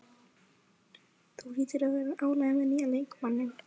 Þú hlýtur að vera ánægður með nýja leikmanninn?